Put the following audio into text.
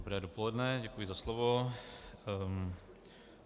Dobré dopoledne, děkuji za slovo.